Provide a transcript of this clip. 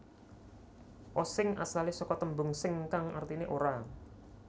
Osing asale saka tembung sing kang artine ora